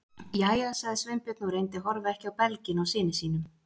Jæja- sagði Sveinbjörn og reyndi að horfa ekki á belginn á syni sínum.